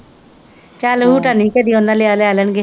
ਚਲ ਹੂਟਾ ਨਹੀਂ ਹੀ ਕਦੀ ਉਹਨਾਂ ਲਿਆ ਲੈ ਲੈਣਗੇ।